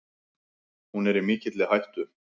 Hún er í mikilli hættu.